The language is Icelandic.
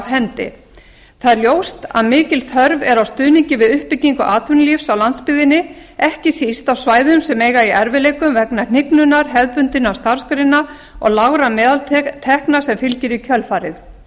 hendi það er ljóst að mikil þörf er á stuðningi við uppbyggingu atvinnulífs á landsbyggðinni ekki síst á svæðum sem eiga í erfiðleikum vegna hnignunar hefðbundinna starfsgreina og lágra meðaltekna sem fylgir í kjölfarið